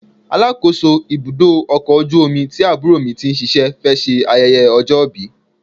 Alákòóso ibùdó ọkọ̀ ojú omi tí àbúrò mi ti ń ṣíṣe fẹ́ ṣe ayẹyẹ ọjọ́ ìbí.